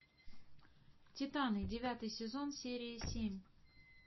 титаны девятый сезон серия семь